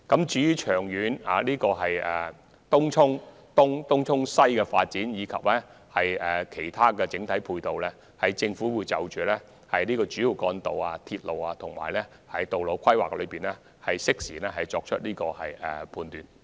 就東涌東及東涌西的長遠發展，以及其他整體交通配套，政府會在主要幹道、鐵路和道路規劃方面作出適時判斷。